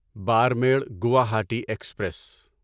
Barmer Guwahati express